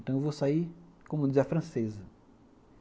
Então eu vou sair, como diz a francesa.